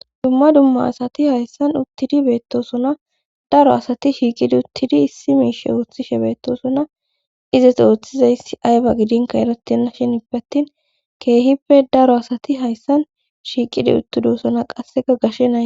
Dumma dumma asati hayssan uttidi beettosona daro asati shiiqidi uttidi issi miishe ooththishe beettosona izes ooththizayssi ayba gidinka erettenna shinppeattin keehippe daro asati hayssan shiiqidi uttidosona qasseka gashenae